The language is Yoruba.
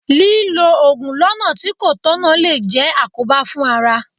Lílọ Ògùn lọ́nà tí kò tọ̀nà lè jẹ́ àkóbá fún ara.